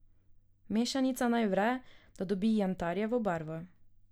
Mešanica naj vre, da dobi jantarjevo barvo.